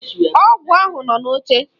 Ọgwụ ahụ nọ n'oche.